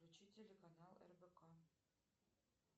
включи телеканал рбк